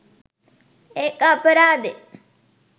ඒක අපරාදෙ